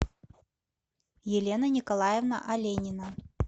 елена николаевна оленина